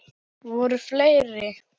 Voru fleiri?